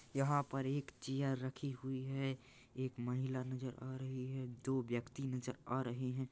यहाँ पर एक चेयर रखी हुई है एक महिला नज़र आ रही है दो व्यक्ति नज़र आ रहे है।